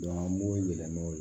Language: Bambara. an b'o yɛlɛmɛ o la